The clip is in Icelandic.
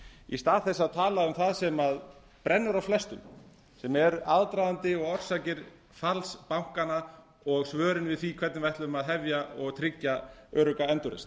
í stað þess að tala um það sem brennur á flestum sem er aðdragandi og orsakir falls bankanna og svörin við því hvernig við ætlum að hefja og tryggja örugga endurreisn